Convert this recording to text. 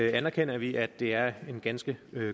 anerkender vi at det er en ganske